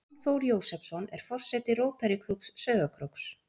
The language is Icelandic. Jón Þór Jósepsson, er forseti Rótarýklúbbs Sauðárkróks.